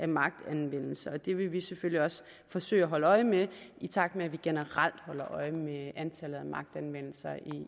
magtanvendelser det vil vi selvfølgelig også forsøge at holde øje med i takt med at vi generelt holder øje med antallet af magtanvendelser